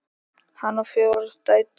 Hann á fjórar dætur.